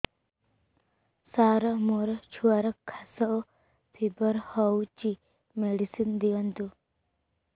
ସାର ମୋର ଛୁଆର ଖାସ ଓ ଫିବର ହଉଚି ମେଡିସିନ ଦିଅନ୍ତୁ